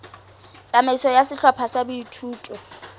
tsamaiso ya sehlopha sa boithuto